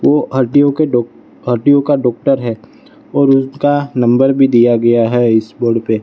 वो हड्डियों के डॉ हड्डियों का डॉक्टर है और उसका नंबर भी दिया गया है इस बोर्ड पे --